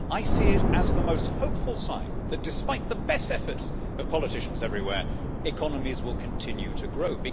I see it as the most hopeful sign that, despite the best efforts of politicians everywhere, economies will continue to grow.